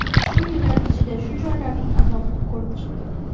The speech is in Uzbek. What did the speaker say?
Shu yillar ichida shu joylarning azobini ko‘rib chiqdim.